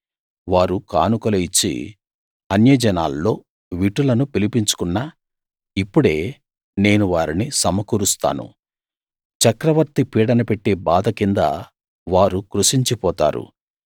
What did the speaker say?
వారు కానుకలు ఇచ్చి అన్యజనాల్లో విటులను పిలుచుకున్నా ఇప్పుడే నేను వారిని సమకూరుస్తాను చక్రవర్తి పీడన పెట్టే బాధ కింద వారు కృశించి పోతారు